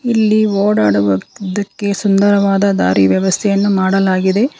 ಇಲ್ಲಿ ಓಡಾಡುವುದಕ್ಕೆ ಸುಂದರವಾದ ದಾರಿ ವ್ಯವಸ್ಥೆಯನ್ನು ಮಾಡಲಾಗಿದೆ.